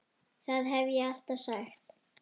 Það hef ég alltaf sagt.